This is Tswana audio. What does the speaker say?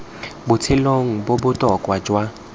botshelong bo bo botoka jwa